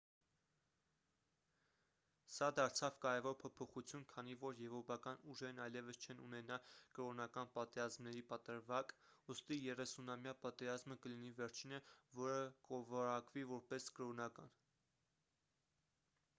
սա դարձավ կարևոր փոփոխություն քանի որ եվրոպական ուժերն այլևս չեն ունենա կրոնական պատերազմների պատրվակ ուստի երեսունամյա պատերազմը կլինի վերջինը որը կորակվի որպես կրոնական